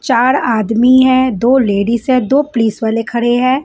चार आदमी हैं दो लेडीज हैं दो पुलिस वाले खड़े हैं।